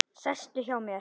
Sestu hjá mér.